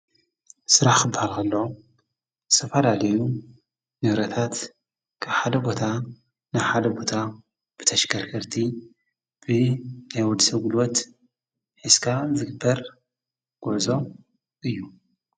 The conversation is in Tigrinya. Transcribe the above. ሥራኽ ብሃልኸሎ ሰፋ ዳሌዩ ነውረታት ሓደ ቦታ ንሓደ ቦታ ብተሽከርክርቲ ብ ናይወድሰጕልወት ኂስካ ዘግበር ጐዕዞ እዩ።